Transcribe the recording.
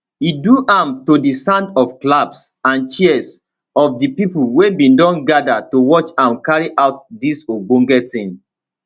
he do am to di sound of claps and cheers of di pipo wey bin don gada to watch am carry out dis ogbonge tin